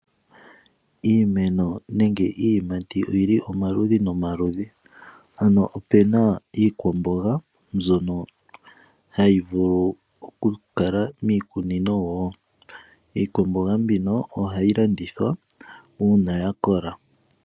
Iimeno nenge iiyimati oyili omaludhi nomaludhi ano opena iikwamboga mbyono hayi vulu oku kala miikunino woo. Iikwamboga mbino ohayi landithwa uuna yakola.